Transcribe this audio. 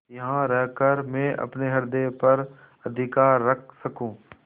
यहाँ रहकर मैं अपने हृदय पर अधिकार रख सकँू